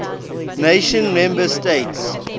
nations member states